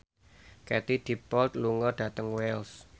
Katie Dippold lunga dhateng Wells